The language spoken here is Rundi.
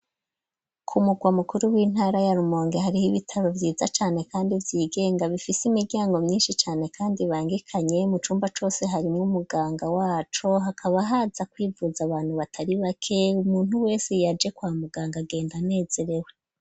Ku murwa mukuru w'intara ya rumonge hariho ibitaro vyiza cane, kandi vyigenga bifise imiryango myinshi cane, kandi bangekanye mu cumba cose harimwo umuganga waco hakaba haza kwivuza abantu batari bake umuntu wese yaje kwa muganga agenda anezerewe.